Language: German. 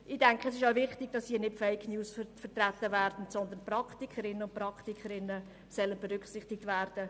Ich denke, es ist auch wichtig, dass hier nicht Fake News vertreten, sondern Praktikerinnen und Praktiker berücksichtigt werden.